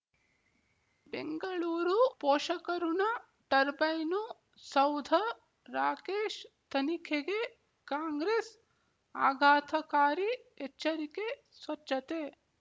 ಬೆಂಗಳೂರು ಪೋಷಕಋಣ ಟರ್ಬೈನು ಸೌಧ ರಾಕೇಶ್ ತನಿಖೆಗೆ ಕಾಂಗ್ರೆಸ್ ಆಘಾತಕಾರಿ ಎಚ್ಚರಿಕೆ ಸ್ವಚ್ಛತೆ